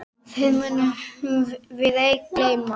Þér munum við ei gleyma.